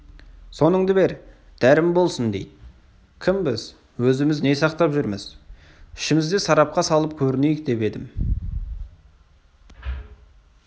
соныңды бер дәрім болсын дейді кімбіз өзіміз не сақтап жүрміз ішімізде сарапқа салып көрінейік деп едім